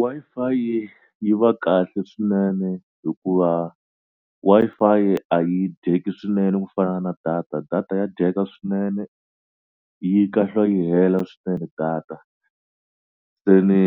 Wi-Fi yi va kahle swinene hikuva Wi-Fi a yi dyeki swinene ku fana na data data ya dyeka swinene yi kahlula yi hela swinene data se ni